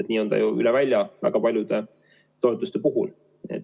Nii on see n-ö üle välja väga paljude toetuste puhul.